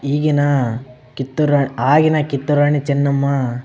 ಈಗಿನ ಕಿತ್ತೂರ್ ರಾಣಿ ಆಗಿನ ಕಿತ್ತೂರ್ ರಾಣಿ ಚೆನ್ನಮ್ಮ --